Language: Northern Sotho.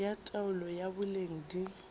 ya taolo ya boleng di